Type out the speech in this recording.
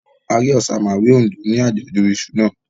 A rí Òsamàwé Oǹdó ní àjọ̀dún iṣu náà.